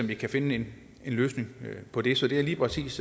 vi kan finde en løsning på det så det er lige præcis